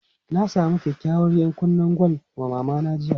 Na samu kyakykyawar 'yankunnen gwal wa Mama jiya.